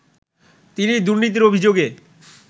তিনি দুর্নীতির অভিযোগে